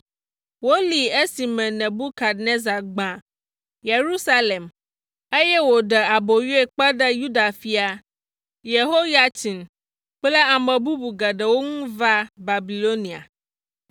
Wolée esime Nebukadnezar gbã Yerusalem, eye wòɖe aboyoe kpe ɖe Yuda fia Yehoyatsin kple ame bubu geɖewo ŋu va Babilonia.